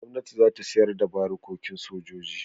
Gwamnati za ta sayar da barikokin sojoji.